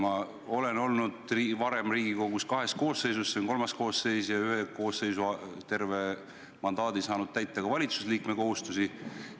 Ma olen varem olnud kahes Riigikogu koosseisus, see on kolmas koosseis, ja ühe koosseisu ajal saanud terve mandaadi kestuse vältel täita ka valitsuse liikme kohustusi.